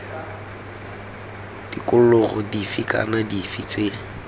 tikologo dife kana dife tse